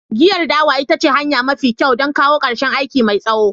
Giyar dawa ita ce hanya mafi kyau don kawo ƙarshen aiki mai tsawo.